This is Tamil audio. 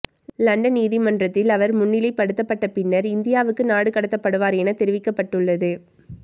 லண்டன் நீதிமன்றத்தில் அவர் முன்னிலைப்படுத்தப்பட்டு பின்னர் இந்தியாவுக்கு நாடு கடத்தப்படுவார் என தெரிவிக்க்பபட்டுள்ளது